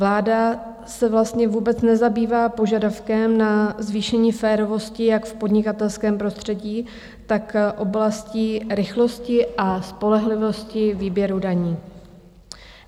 Vláda se vlastně vůbec nezabývá požadavkem na zvýšení férovosti jak v podnikatelském prostředí, tak oblastí rychlosti a spolehlivosti výběru daní.